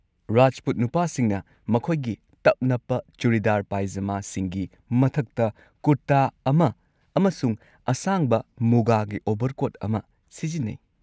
ꯔꯥꯖꯄꯨꯠ ꯅꯨꯄꯥꯁꯤꯡꯅ ꯃꯈꯣꯏꯒꯤ ꯇꯞ-ꯅꯞꯄ ꯆꯨꯔꯤꯗꯥꯔ ꯄꯥꯢꯖꯃꯥꯁꯤꯡꯒꯤ ꯃꯊꯛꯇ ꯀꯨꯔꯇꯥ ꯑꯃ ꯑꯃꯁꯨꯡ ꯑꯁꯥꯡꯕ ꯃꯨꯒꯥꯒꯤ ꯑꯣꯚꯔꯀꯣꯠ ꯑꯃ ꯁꯤꯖꯤꯟꯅꯩ꯫